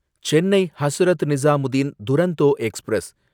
Chennai Hazrat Nizamuddin Duronto express